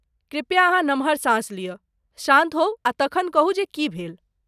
कृपया अहाँ नमहर साँस लिअ, शान्त होउ आ तखन कहू जे की भेल?